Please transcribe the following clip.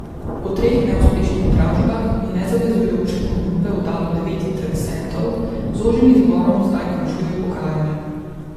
Po treh neuspešnih dražbah je nezavezujoče ponudbe oddalo devet interesentov, z ožjim izborom zdaj končuje pogajanja.